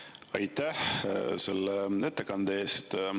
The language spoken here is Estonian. Aitäh selle ettekande eest!